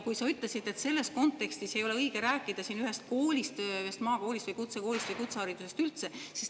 Sa ütlesid, et selles kontekstis ei ole õige rääkida ühest koolist, ühest maakoolist või kutsekoolist või kutseharidusest üldse.